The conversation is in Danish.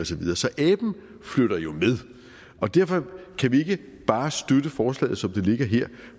så videre så aben flytter jo med og derfor kan vi ikke bare støtte forslaget som det ligger her